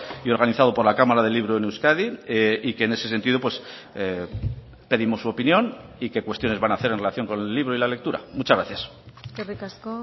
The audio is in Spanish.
y organizado por la cámara del libro en euskadi y que en ese sentido pedimos su opinión y qué cuestiones van a hacer en relación con el libro y la lectura muchas gracias eskerrik asko